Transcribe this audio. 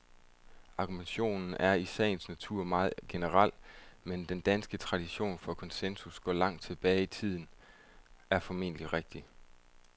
Argumentationen er i sagens natur meget generel, men at den danske tradition for konsensus går langt tilbage i tiden, er formentlig rigtigt.